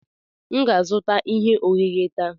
M ga-azụta ihe ohehe taa.